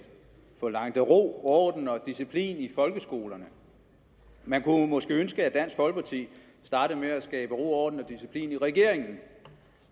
forlangte ro orden og disciplin i folkeskolerne man kunne måske ønske at dansk folkeparti startede med at skabe ro orden og disciplin i regeringen